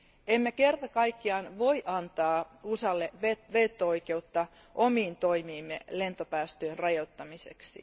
Emme kerta kaikkiaan voi antaa USAlle veto oikeutta omiin toimiimme lentopäästöjen rajoittamiseksi.